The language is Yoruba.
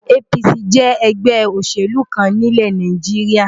APC jẹ́ ẹgbẹ́ òṣèlú kan ní ilẹ̀ Nàìjíríà.